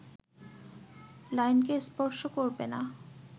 লাইনকে স্পর্শ করবে না